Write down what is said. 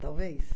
Talvez.